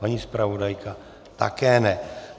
Paní zpravodajka - také ne.